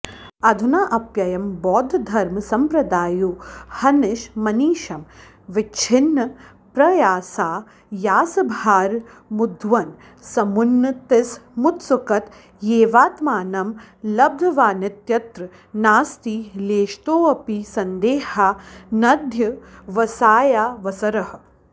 अधुनाऽप्ययं बौद्धधर्मसम्प्रदायोऽहनिशमनिशमविच्छिन्नप्रयासायासभार मुद्वहन् समुन्नतिसमुत्सुकतयैवाऽऽत्मानं लब्धवानित्यत्र नास्ति लेशतोऽपि सन्देहा नध्यवसायावसरः